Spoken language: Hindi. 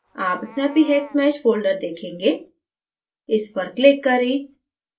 आप snappyhexmesh folder देखेंगे इस पर click करें